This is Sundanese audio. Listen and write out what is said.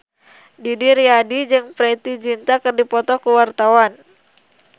Didi Riyadi jeung Preity Zinta keur dipoto ku wartawan